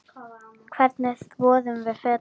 Hvernig þvoum við fötin?